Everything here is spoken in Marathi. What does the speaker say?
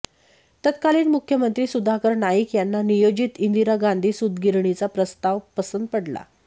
तत्कालीन मुख्यमंत्री सुधाकर नाईक यांना नियोजित इंदिरा गांधी सूतगिरणीचा प्रस्ताव पसंत पडला